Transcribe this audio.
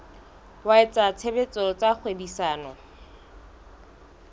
wa etsa tshebetso tsa kgwebisano